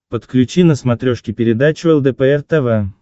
подключи на смотрешке передачу лдпр тв